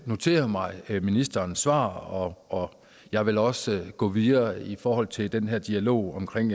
noterede mig ministerens svar og og jeg vil også gå videre i forhold til den her dialog omkring